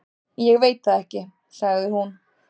Ég veit það ekki, sagði hún.